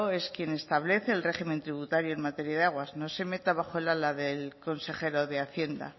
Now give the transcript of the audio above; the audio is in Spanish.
es quien establece el régimen tributario en materia de aguas no se meta bajo el ala del consejero de hacienda